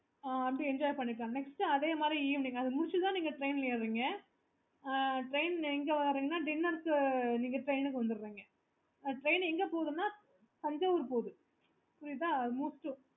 ஆஹ் அதா enjoy பண்ணிக்கலாம் next அதே மாதிரி eveningtrain எங்க இருவீங்கன்னா dinner க்கு நீங்க train க்கு வந்துடுவீங்க